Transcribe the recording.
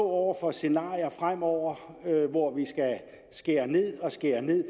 over for scenarier fremover hvor vi skal skære ned og skære ned